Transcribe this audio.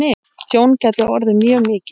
Tjón gæti orðið mjög mikið.